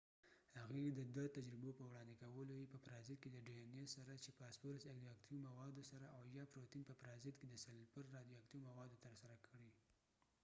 هغوۍ د دوه تجربو په وړاندې کولو سره چې dna یې په پرازیت کې د فاسفورس رادیو اکتیو موادو سره او یا پروتین په پرازیت کې د سلفر رادیو اکتیو موادو تر سره کړې